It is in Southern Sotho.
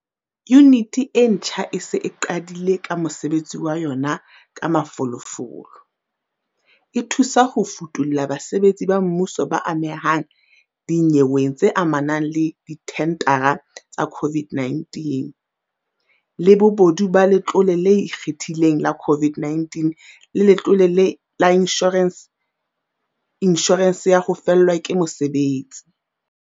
Yuniti ena e ntjha e se e qadile ka mosebetsi wa yona ka mafolofolo, e thusa ho futulla basebetsi ba mmuso ba amehang dinyeweng tse amanang le dithendara tsa COVID-19, le bobodu ba Letlole le Ikgethileng la COVID-19 le Letlole la Inshorense ya ho Fellwa ke Mosebetsi.